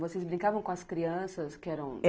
Vocês brincavam com as crianças que eram